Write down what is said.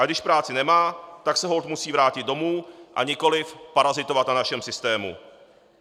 Ale když práci nemá, tak se holt musí vrátit domů a nikoliv parazitovat na našem systému.